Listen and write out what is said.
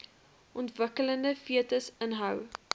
ontwikkelende fetus inhou